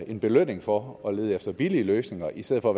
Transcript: en belønning for at lede efter billige løsninger i stedet for